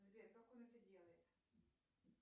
сбер как он это делает